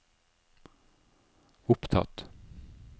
opptatt